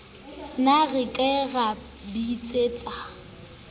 ne re ka ra bitsetsa